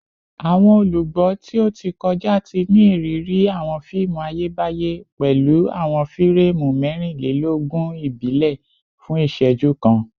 Awọn olugbo ti o ti kọja ti ni iriri awọn fiimu Ayebaye pẹlu awọn fireemu mẹrinlelogun ibile fun iṣẹju kan